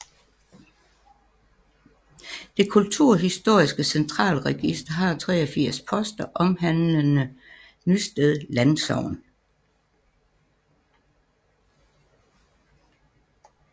Det kulturhistoriske Centralregister har 83 poster omhandlende Nysted Landsogn